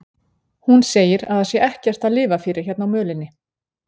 Hún segir að það sé ekkert að lifa fyrir hérna á mölinni.